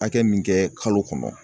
Hakɛ min kɛ kalo kɔnɔ